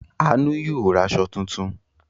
Àánú yóò ra aṣọ tuntun.